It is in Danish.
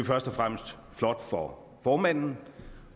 først og fremmest flot for formanden